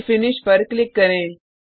फिर फिनिश पर क्लिक करें